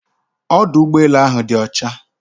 Ọdụ ụgbọelu áhù dị ọcha